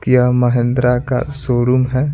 किया महिंद्रा का शोरूम है।